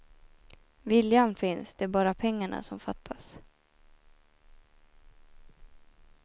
Viljan finns, det är bara pengarna som fattas.